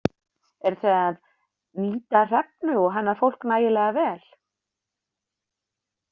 Eruð þið að nýta Hrefnu og hennar fólk nægilega vel?